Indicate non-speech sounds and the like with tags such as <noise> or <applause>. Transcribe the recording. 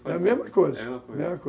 é a mesma coisa <unintelligible>